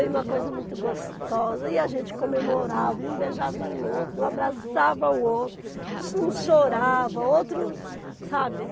Uma coisa muito gostosa, e a gente comemorava, e um beijava o outro, um abraçava o outro, uns choravam, outros, sabe?